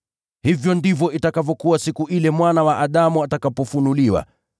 “Hivyo ndivyo itakavyokuwa siku ile Mwana wa Adamu atakapofunuliwa.